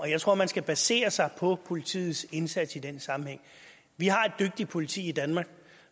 jeg tror man skal basere sig på politiets indsats i den sammenhæng vi har et dygtigt politi i danmark